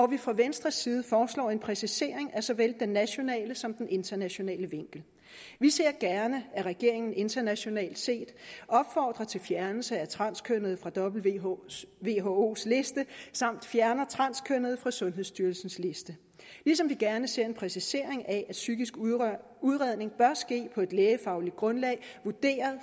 vi fra venstres side foreslår en præcisering af såvel den nationale som den internationale vinkel vi ser gerne at regeringen internationalt set opfordrer til fjernelse af transkønnede fra whos liste og fjerner transkønnede fra sundhedsstyrelsens liste ligesom vi gerne ser en præcisering af at psykisk udredning bør ske på et lægefagligt grundlag vurderet